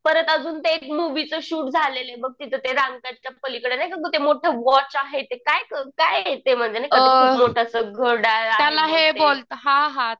परत अजून ते एक मुव्हीचं शूट झालेलं बघ तिथं ते च्या पलीकडं नाही का गं ते मोठं वॉच आहे ते काय गं काय आहे ते म्हणजे नाही का खूप मोठं असं घड्याळ आहे बघ ते